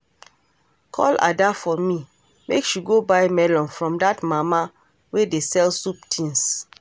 Call Ada for me make she go buy melon from dat mama wey dey sell soup things